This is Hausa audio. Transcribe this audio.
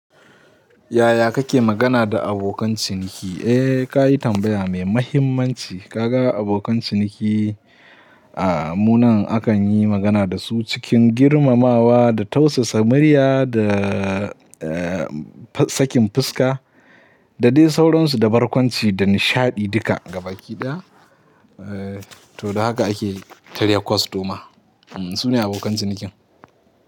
Yaya kake magana da abokan ciniki? Eh kayi tambaya mai mahimmanci. Ka ga abokan ciniki, ahm, mu nan akan yi magana da su cikin girmamawa da tausasa, murya da, eh, sakin fuska, da dai sauransu da barkwanci da nishaɗi duka gaba kiɗaya. Eh. To da haka ake kiran kwastoma su ne abokan cinikin.